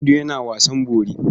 Audu yana wasan bori.